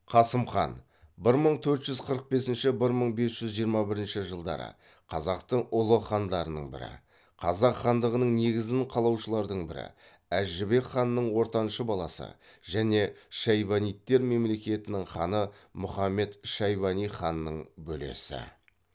қасым хан қазақтың ұлы хандарының бірі қазақ хандығының негізін қалаушылардың бірі әз жәнібек ханның ортаншы баласы және шайбанидтер мемлекетінің ханы мұхаммед шайбани ханның бөлесі